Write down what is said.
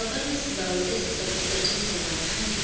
akunasibawo esizakusetjenzwa ngaphandle